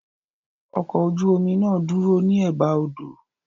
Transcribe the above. Ọkọ̀ ojú omi náà dúró ní Ẹ̀ba odò.